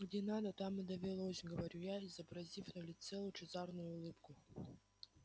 где надо там и довелось говорю я изобразив на лице лучезарную улыбку